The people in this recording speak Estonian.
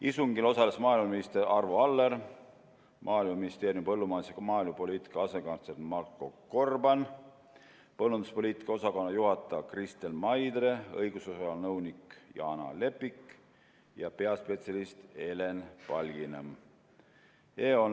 Istungil osalesid maaeluminister Arvo Aller, Maaeluministeeriumi põllumajandus- ja maaelupoliitika asekantsler Marko Gorban, põllumajanduspoliitika osakonna juhataja Kristel Maidre, õigusosakonna nõunik Jaana Lepik ja peaspetsialist Helen Palginõmm.